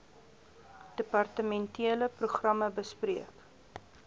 departementele programme bespreek